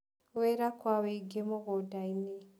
Wĩra kwa wingĩ mũgũndainĩ.